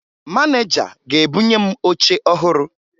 Maneja ga-ebunye m oche ọhụrụ